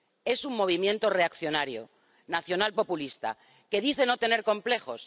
Es un movimiento reaccionario nacional populista que dice no tener complejos.